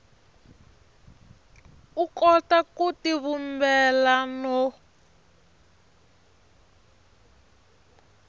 u kota ku tivumbela no